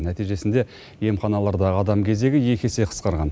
нәтижесінде емханалардағы адам кезегі екі есе қысқарған